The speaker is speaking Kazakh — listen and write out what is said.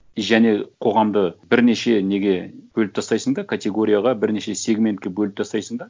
және қоғамды бірнеше неге бөліп тастайсың да категорияға бірнеше сегментке бөліп тастайсың да